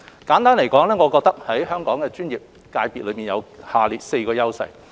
簡單來說，我認為香港的專業界別有以下4個優勢。